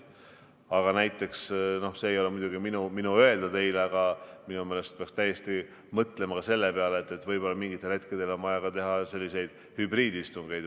Aga näiteks, see ei ole muidugi minu öelda teile, aga minu meelest peaks täiesti mõtlema ka sellele, et võib-olla mingil hetkel on vaja teha hübriidistungeid.